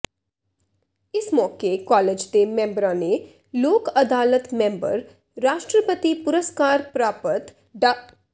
ਇਸ ਮੌਕੇ ਕਾਲਜ ਦੇ ਮੈਂਬਰਾ ਨੇ ਲੋਕ ਅਦਾਲਤ ਮੈਂਬਰ ਰਾਸ਼ਟਰਪਤੀ ਪੁਰਸਕਾਰ ਪ੍ਰਰਾਪਤ ਡਾ